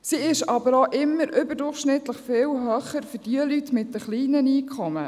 Sie ist aber auch immer überdurchschnittlich viel höher für Leute mit kleinen Einkommen.